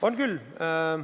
On küll.